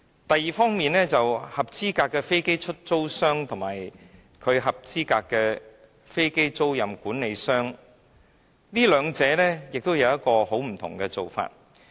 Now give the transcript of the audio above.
第二方面，關於合資格的飛機出租商及合資格的飛機租賃管理商，兩者的做法大有不同。